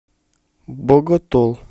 боготол